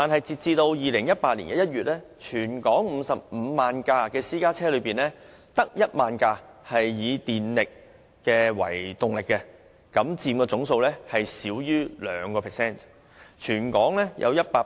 截至2018年1月，在全港55萬輛私家車中，只有1萬輛以電力為動力，佔總數少於 2%。